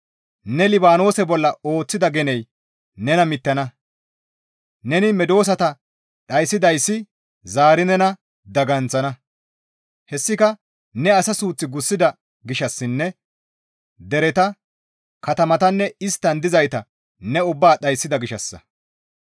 Ne Libaanoose bolla ooththida geney nena mittana; neni medosata dhayssidayssi zaari nena daganththana; hessika ne asa suuth gussida gishshassinne dereta, katamatanne isttan dizayta ne ubbaa dhayssida gishshassa.